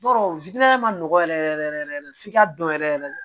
Bɔrɔ ma nɔgɔ yɛrɛ yɛrɛ yɛrɛ f'i ka dɔn yɛrɛ yɛrɛ